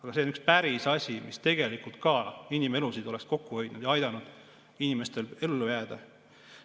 Aga see on üks päris asi, mis tegelikult oleks inimelusid hoidnud ja aidanud inimestel ellu jääda.